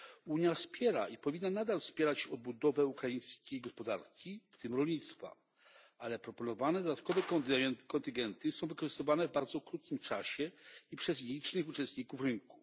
Unia wspiera i powinna nadal wspierać odbudowę ukraińskiej gospodarki, w tym rolnictwa, ale proponowane dodatkowe kontyngenty są wykorzystywane w bardzo krótkim czasie i przez nielicznych uczestników rynku.